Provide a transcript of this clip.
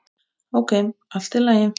Ókei, allt í lagi.